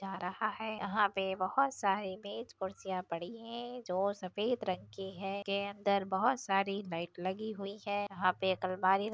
जा रहा है यहाँ पे बहुत सारी मेज कुर्सियाँ पड़ी हुई है जो सफेद रंग की है जिसके अंदर बहुत सारी लाइट लगी हुई है यहाँ पे एक अलमारी रखी --